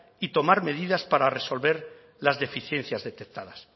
y tomar medidas para resolver las deficiencias detectadas